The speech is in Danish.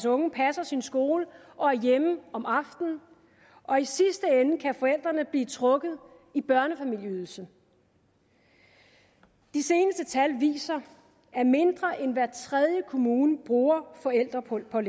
unge passer sin skole og er hjemme om aftenen og i sidste ende kan forældrene blive trukket i børnefamilieydelsen de seneste tal viser at mindre end hver tredje kommune bruger forældrepålæg og at